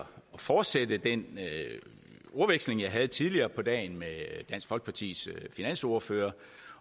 fortsætte den ordveksling jeg havde tidligere på dagen med dansk folkepartis finansordfører